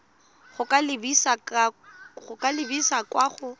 go ka lebisa kwa go